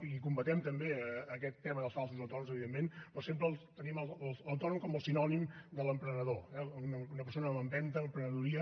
i combatem també aquest tema dels falsos autònoms evidentment però sempre tenim l’autònom com el sinònim de l’emprenedor eh una persona amb empenta amb emprenedoria